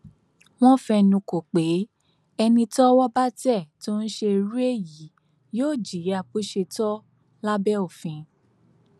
wọn fẹnukò pé ẹni tọwọ bá tẹ tó ń ṣe irú èyí yóò jìyà bó ṣe tọ lábẹ òfin